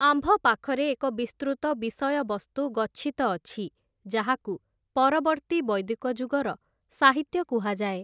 ଆମ୍ଭପାଖରେ ଏକ ବିସ୍ତୃତ ବିଷୟବସ୍ତୁ ଗଚ୍ଛିତ ଅଛି, ଯାହାକୁ ପରବର୍ତ୍ତୀ ବୈଦିକଯୁଗର ସାହିତ୍ୟ କୁହାଯାଏ ।